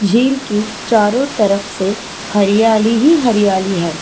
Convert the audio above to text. झीलों की चारों तरफ से हरियाली ही हरियाली है।